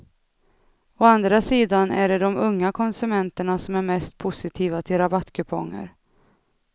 Å andra sidan är det de unga konsumenterna som är mest positiva till rabattkuponger.